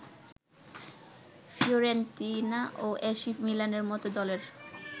Fiorentina ও AC মিলানের মতো দলের